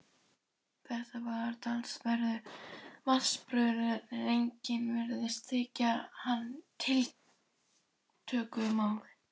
Þetta var talsverður vatnsburður en engum virtist þykja hann tiltökumál.